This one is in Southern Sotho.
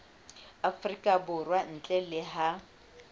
afrika borwa ntle le ha